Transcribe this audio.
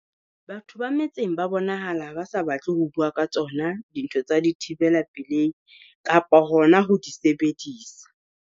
Batho ba metseng ba bonahala ba sa batle ho bua ka tsona dintho tsa dithibela pelehi kapa hona ho di sebedisa.